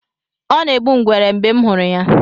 Ọ na-egbu ngwere mgbe m hụrụ ya